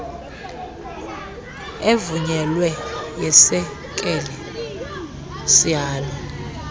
evunyelweyo yesekela sihalo